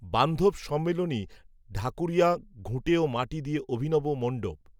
বান্ধব সম্মিলনী ঢাকূরিয়া, ঘুঁটে ও মাটি দিয়ে অভিনব মণ্ডপ